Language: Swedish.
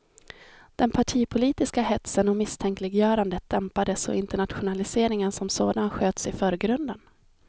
Den partipolitiska hetsen och misstänkliggörandet dämpades och internationaliseringen som sådan sköts i förgrunden.